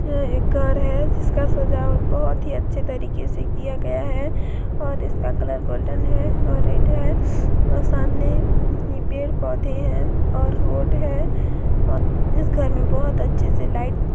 यह एक घर है जिसका सजावट बहोत ही अच्छे तरीके से किया गया है और इसका कलर गोल्डन है और रेड है और सामने पेड़-पौधे है और रोड है औ--